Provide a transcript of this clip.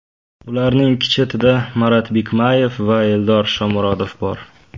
Ularning ikki chetida Marat Bikmayev va Eldor Shomurodov bor.